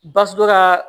Basiso dɔ kaa